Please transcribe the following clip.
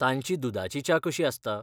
तांची दुदाची च्या कशी आसता?